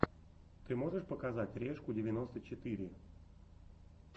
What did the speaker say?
ты можешь показать решку девяносто четыре